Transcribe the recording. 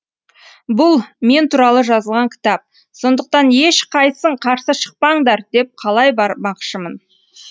бұл мен туралы жазылған кітап сондықтан ешқайсың қарсы шықпаңдар деп қалай бармақшымын